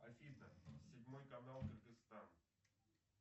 афина седьмой канал кыргыстан